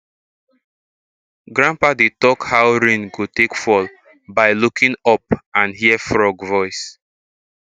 grandpa dey talk how rain go take fall by looking up and hear frog voice